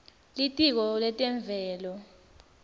litiko letemvelo